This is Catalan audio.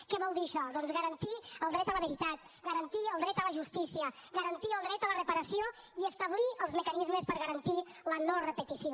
què vol dir això doncs garantir el dret a la veritat garantir el dret a la justícia garantir el dret a la reparació i establir els mecanismes per garantir la no repetició